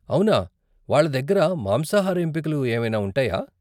అవునా, వాళ్ళ దగ్గర మాంసాహార ఎంపికలు ఏవైనా ఉంటాయా?